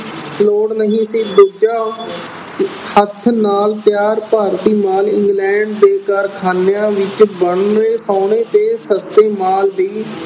ਲੋੜ ਨਹੀਂ ਸੀ। ਦੂਜਾ ਹੱਥ ਨਾਲ ਤਿਆਰ ਭਾਰਤੀ ਮਾਲ England ਦੇ ਕਾਰਖਾਨਿਆਂ ਵਿੱਚ ਬਣੇ ਤੇ ਸਸਤੇ ਮਾਲ ਦੀ